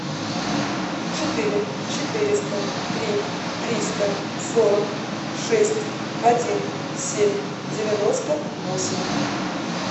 четыре четыреста три триста сорок шесть один семь девяносто восемь